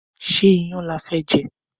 Ṣé iyán lafẹ́ jẹ?